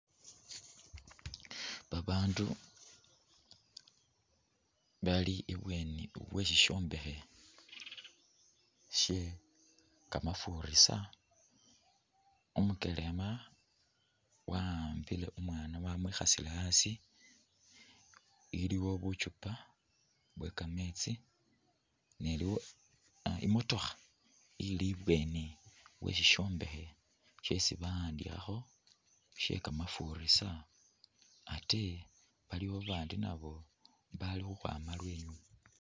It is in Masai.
Babandu bali ibweni we shishombekhe she kamafurisa ,umukelema wa'ambile umwana wamwikhasile asi ,iliwo buchupa bwe kametsi, iliwo imotookha ili ibweni we sisyombekhe shesi bawandikhakho she kamafurisa ate waliwo babandi nabo bali ukhwama lwenyuma